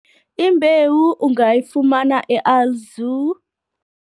Imbewu ungayifumana e-Alzu.